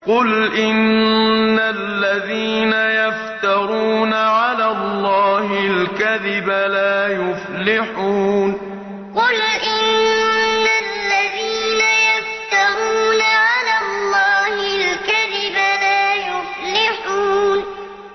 قُلْ إِنَّ الَّذِينَ يَفْتَرُونَ عَلَى اللَّهِ الْكَذِبَ لَا يُفْلِحُونَ قُلْ إِنَّ الَّذِينَ يَفْتَرُونَ عَلَى اللَّهِ الْكَذِبَ لَا يُفْلِحُونَ